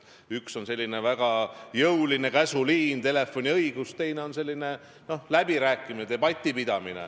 Üks on väga jõuline käsuliin, telefoniõigus, teine on läbirääkimised, debattide pidamine.